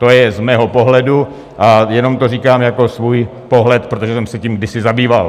To je z mého pohledu, a jenom to říkám jako svůj pohled, protože jsem se tím kdysi zabýval.